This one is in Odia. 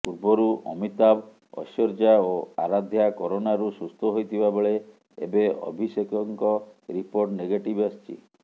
ପୂର୍ବରୁ ଅମିତାଭ ଐଶ୍ୱର୍ଯ୍ୟା ଓ ଆରାଧ୍ୟା କରୋନାରୁ ସୁସ୍ଥ ହୋଇଥିବା ବେଳେ ଏବେ ଅଭିଷେକଙ୍କ ରିପୋର୍ଟ ନେଗେଟିଭ ଆସିଛି